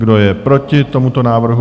Kdo je proti tomuto návrhu?